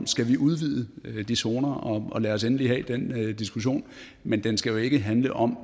skal udvide de zoner og lad os endelig have den diskussion men den skal jo ikke handle om